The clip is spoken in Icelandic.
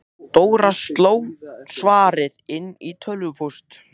Dóra sló svarið inn í tölvupóst.